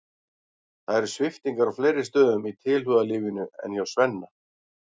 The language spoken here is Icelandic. Það eru sviptingar á fleiri stöðum í tilhugalífinu en hjá Svenna.